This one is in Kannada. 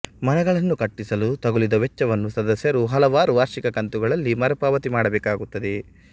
ಮನೆಗಳನ್ನು ಕಟ್ಟಿಸಲು ತಗುಲಿದ ವೆಚ್ಚವನ್ನು ಸದಸ್ಯರು ಹಲವಾರು ವಾರ್ಷಿಕ ಕಂತುಗಳಲ್ಲಿ ಮರುಪಾವತಿ ಮಾಡುಬೇಕಾಗುತ್ತದೆ